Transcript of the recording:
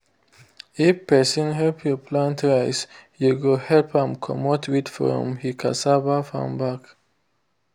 if person help you plant rice you go help am comot weed from he cassava farm back.